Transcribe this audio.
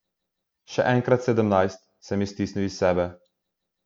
Še enkrat sedemnajst, sem stisnil iz sebe.